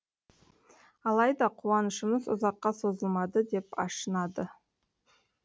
алайда қуанышымыз ұзаққа созылмады деп ашынады